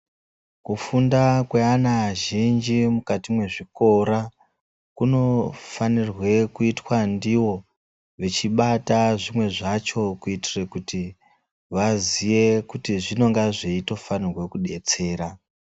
Kufunda kweana azhinji mukati mwezvikkra kunofanirwe kuitwa ndiwo vechibata zvimwe zvacho kuitira kuti vaziyekuti zvinenge zveitofanirwe kudetsera .